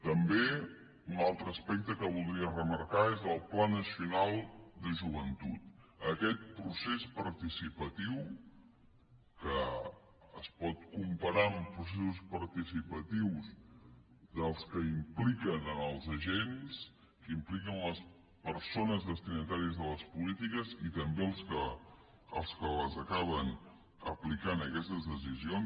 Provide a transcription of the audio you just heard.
també un altre aspecte que voldria remarcar és el pla nacional de joventut aquest procés participatiu que es pot comparar amb processos participatius dels que impliquen els agents que impliquen les persones destinatàries de les polítiques i també els que acaben les aplicant aquestes decisions